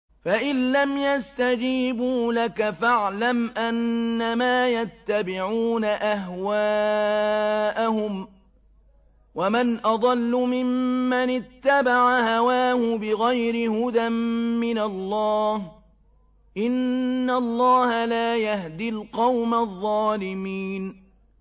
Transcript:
فَإِن لَّمْ يَسْتَجِيبُوا لَكَ فَاعْلَمْ أَنَّمَا يَتَّبِعُونَ أَهْوَاءَهُمْ ۚ وَمَنْ أَضَلُّ مِمَّنِ اتَّبَعَ هَوَاهُ بِغَيْرِ هُدًى مِّنَ اللَّهِ ۚ إِنَّ اللَّهَ لَا يَهْدِي الْقَوْمَ الظَّالِمِينَ